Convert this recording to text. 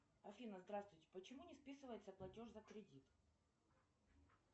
афина здравствуйте почему не списывается платеж за кредит